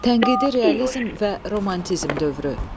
Tənqidi realizm və romantizm dövrü.